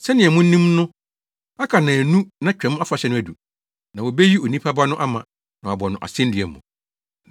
“Sɛnea munim no aka nnaanu na Twam Afahyɛ no adu, na wobeyi Onipa Ba no ama, na wɔabɔ no asennua mu.”